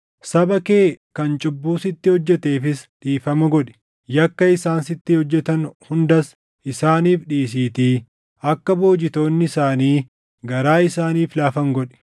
Saba kee kan cubbuu sitti hojjeteefis dhiifama godhi; yakka isaan sitti hojjetan hundas isaaniif dhiisiitii akka boojitoonni isaanii garaa isaaniif laafan godhi;